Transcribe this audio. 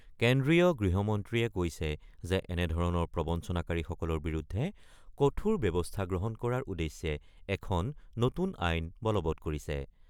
কেন্দ্ৰীয় গৃহমন্ত্ৰীয়ে কৈছে যে এনেধৰণৰ প্ৰবঞ্চনাকাৰীসকলৰ বিৰুদ্ধে কঠোৰ ব্যৱস্থা গ্ৰহণ কৰাৰ উদ্দেশ্যে এখন নতুন আইন বলৱৎ কৰিছে।